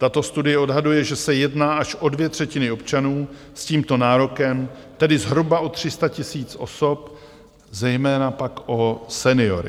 Tato studie odhaduje, že se jedná až o dvě třetiny občanů s tímto nárokem, tedy zhruba o 300 000 osob, zejména pak o seniory.